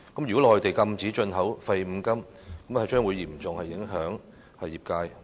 如果內地禁止進口廢五金類，將會嚴重影響業界。